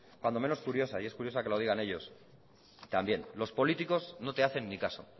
cuando menos curiosa y es curiosa que la digan ellos también los políticos no te hacen ni caso